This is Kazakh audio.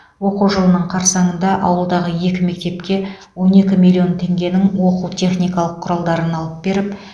оқу жылының қарсаңында ауылдағы екі мектепке он екі миллион теңгенің оқу техникалық құралдарын алып беріп